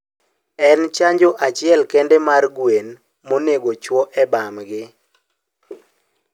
En chanjo achiel kende mar gwen mondego ochuo e bambgi